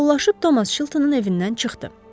Sağollaşıb Thomas Chiltonun evindən çıxdı.